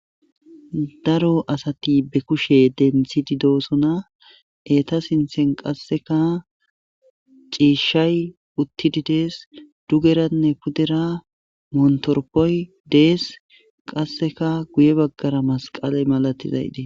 daro asati be kushe denthidi doosona eta sinthen qasseka ciishshay uttidi dees dugeranne pudera montoropoy dees qasseka guye baggara masqale malatizayde